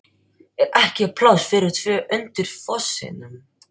ER EKKI PLÁSS FYRIR TVO UNDIR FOSSINUM?